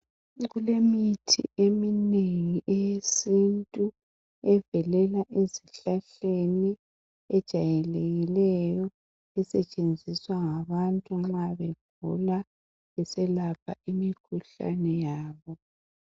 kulemithi eminengi eyesintu evelela ezihlahleni ejayelekileyo esetshenziswa ngabantu nxa begula beselapha imikhuhlane yabo